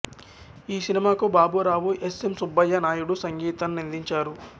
ఈ సినిమాకు Baburao S M Subbaiah Naidu సంగీతాన్నందించారు